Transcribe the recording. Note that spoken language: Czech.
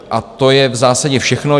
A to je v zásadě všechno.